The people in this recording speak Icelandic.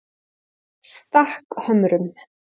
Stakkhömrum